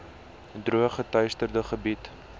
droog geteisterde gebiede